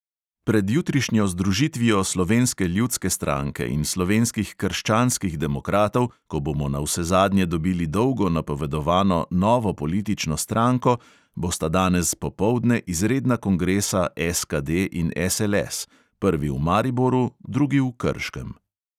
Pred jutrišnjo združitvijo slovenske ljudske stranke in slovenskih krščanskih demokratov, ko bomo navsezadnje dobili dolgo napovedovano novo politično stranko, bosta danes popoldne izredna kongresa SKD in SLS; prvi v mariboru, drugi v krškem.